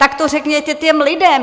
Tak to řekněte těm lidem!